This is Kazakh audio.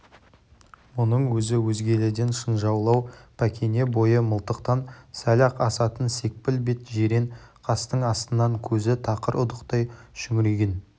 мұның өзі өзгелерден шынжаулау пәкене бойы мылтықтан сәл-ақ асатын секпіл бет жирен қастың астынан көзі тақыр ұдықтай шүңірейген